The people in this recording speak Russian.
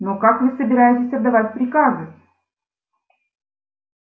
но как вы собираетесь отдавать приказы